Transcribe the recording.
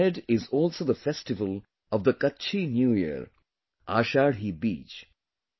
Just ahead is also the festival of the Kutchi New Year – Ashadhi Beej